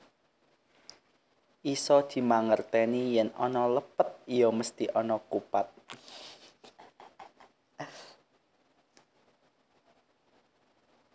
Isa dimangerteni yen ana lepet iya mesthi ana kupat